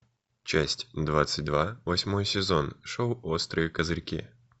часть двадцать два восьмой сезон шоу острые козырьки